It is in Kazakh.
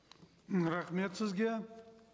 м рахмет сізге